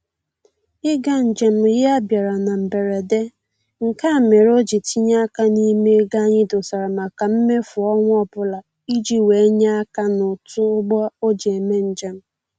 Ịga njem ya a bịara na mberede, nke a mere o ji tinye aka n'ime ego anyị dosara maka mmefu ọnwa ọbụla iji wee nye aka n'ụtụ ụgbọ o ji eme njem